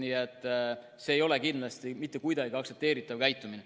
Nii et see ei ole kindlasti mitte kuidagi aktsepteeritav käitumine.